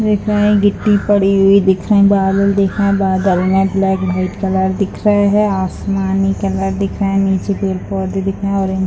दिख रहे हैं गिट्टी पर हुई दिख रहे हैं बालू दिख रहा हैं बादल है ब्लैक व्हाइट कलर दिख रहे हैं आसमानी कलर दिख रहे हैं नीचे की ओर पौधे दिख रहे हैं ऑरेंज --